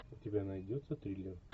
у тебя найдется триллер